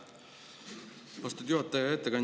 Aitäh, austatud juhataja!